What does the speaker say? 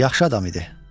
Yaxşı adam idi.